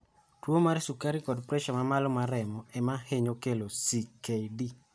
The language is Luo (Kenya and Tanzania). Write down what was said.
Tuwo mar sukari kod pressure ma malo mar remo ema ohinyo kelo CKD